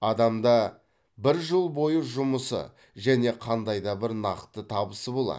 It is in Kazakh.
адамда бір жыл бойы жұмысы және қандай да бір нақты табысы болады